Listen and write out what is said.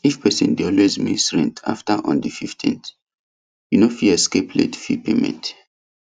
if person dey always miss rent after on the fifteenth you no fit escape late fee payment